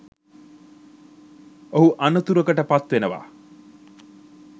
ඔහු අනතුරකට පත් වෙනවා.